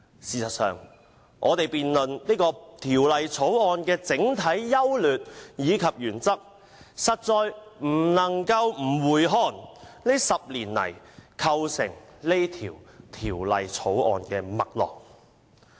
事實上，我們要辯論《條例草案》的整體優劣及原則，實在不能夠不回顧這10年來構成《條例草案》脈絡的事件。